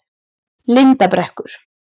Lindarbrekku